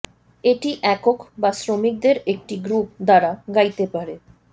এটি একক বা শ্রমিকদের একটি গ্রুপ দ্বারা গাইতে পারে